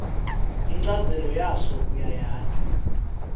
inchazelo yaso uyayati